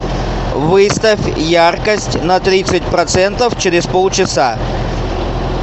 выставь яркость на тридцать процентов через полчаса